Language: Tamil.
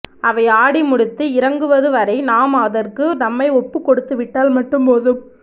அவை ஆடிமுடித்து இறங்குவது வரை நாம் அதற்கு நம்மை ஒப்புக்கொடுத்துவிட்டால் மட்டும்போதும்